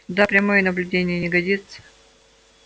да прямое наблюдение не годится